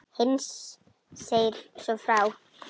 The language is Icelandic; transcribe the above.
Heinz segir svo frá: